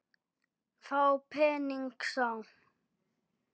Þá pening sá.